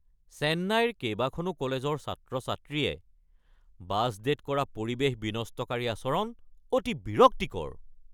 চেন্নাইৰ কেইবাখনো কলেজৰ ছাত্ৰ-ছাত্ৰীয়ে বাছ ডে'ত কৰা পৰিৱেশ বিনষ্টকাৰী আচৰণ অতি বিৰক্তিকৰ।